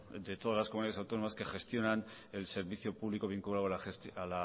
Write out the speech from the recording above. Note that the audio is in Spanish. de todas las comunidades autónomas que gestionan el servicio público vinculado